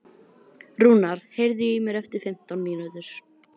Rúnar, heyrðu í mér eftir fimmtán mínútur.